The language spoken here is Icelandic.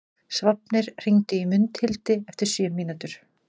Sváfnir, hringdu í Mundhildi eftir sjö mínútur.